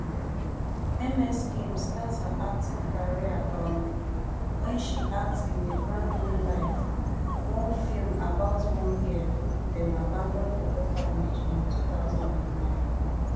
ms kim start her acting career um wen she act in a brand new life one film about one girl dem abandon for orphanage in two thousand and nine